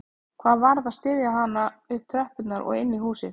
Hann varð að styðja hana upp tröppurnar og inn í húsið